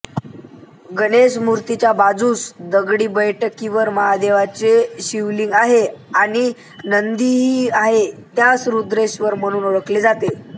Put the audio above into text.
गणेशमूर्तीच्या बाजूस दगडी बैठकीवर महादेवाचे शिवलिंग आहे आणि नंदीही आहे त्यास रुद्रेश्वर म्हणून ओळखले जाते